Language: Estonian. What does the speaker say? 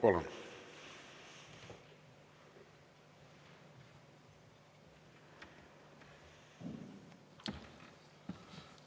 Palun!